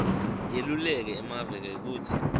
yeluleke emave kwekutsi